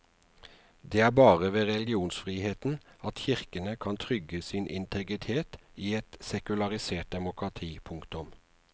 Det er bare ved religionsfriheten at kirkene kan trygge sin integritet i et sekularisert demokrati. punktum